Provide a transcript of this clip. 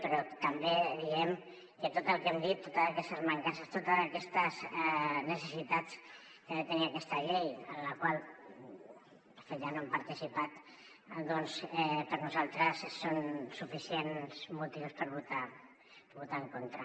però també diem que tot el que hem dit totes aquestes mancances totes aquestes necessitats que ha de tenir aquesta llei en la qual de fet ja no hem participat doncs per nosaltres són suficients motius per votar hi en contra